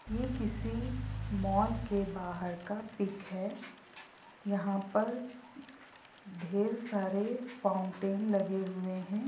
ये किसी मोल के बाहर का पीक है यहाँ पर ढेर सारे फाउंटेन लगे हुए हैं।